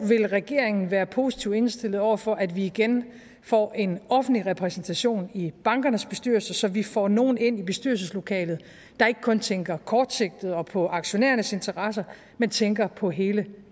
vil regeringen være positivt indstillet over for at vi igen får en offentlig repræsentation i bankernes bestyrelse så vi får nogle ind i bestyrelseslokalet der ikke kun tænker kortsigtet og på aktionærernes interesser men tænker på hele